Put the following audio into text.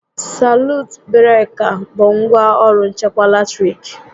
Salut breka bụ ngwá ọrụ nchekwa latiriki